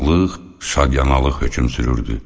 Şadlıq, şadyanalıq hökm sürürdü.